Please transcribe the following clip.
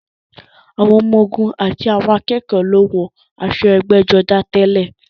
Àwọn ọmọ-ogun àti àwọn akẹ́kọ̀ọ́ ló ń wọ aṣọ ẹgbẹ́jọdá tẹ́lẹ̀.